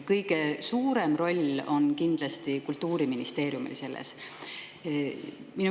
Kõige suurem roll on selles kindlasti Kultuuriministeeriumil.